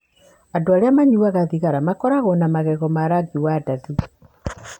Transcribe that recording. Andũ arĩa manyuaga thigara makoragwo na magego ma rangi wa ndathi.